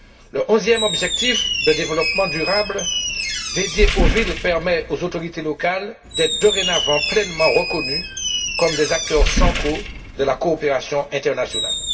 Le onzième objectif de développement durable relatif aux villes permet aux autorités locales d'être dorénavant pleinement reconnues comme des acteurs centraux de la coopération internationale.